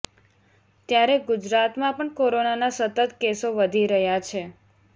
ત્યારે ગુજરાતમાં પણ કોરોના ના સતત કેસો વધી રહ્યા છે